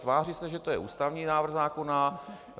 Tváří se, že je to ústavní návrh zákona.